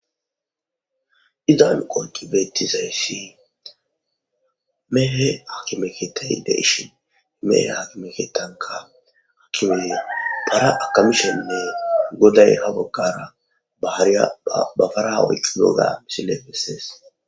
izan qoqi beetizayssi meehe akimeketay de ishin imeehe hakimeketanka akimeye para akamishenne goday hagokkara baharya bafarawoyqqigoga misinefesees